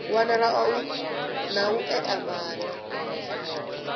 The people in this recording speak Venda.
wanala na u ea maana